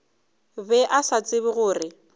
be a sa tsebe gore